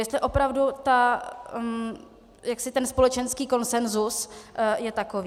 Jestli opravdu ten společenský konsenzus je takový.